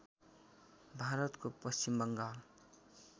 भारतको पश्चिम बङ्गाल